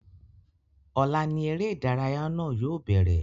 Ọ̀la ní eré ìdárayá náà yóò bẹ̀rẹ̀